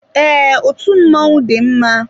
Ee, otú mmọnwụ dị mma.